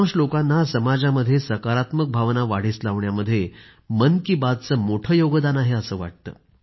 बहुतांश लोकांना समाजामध्ये सकारात्मक भावना वाढीस लावण्यामध्ये मन की बातचं मोठं योगदान आहे असं वाटतं